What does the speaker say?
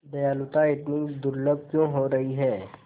दयालुता इतनी दुर्लभ क्यों हो रही है